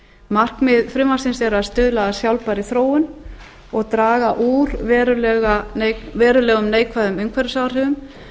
markmið frumvarpsins er að stuðla að sjálfbærri þróun og draga úr verulegum neikvæðum umhverfisáhrifum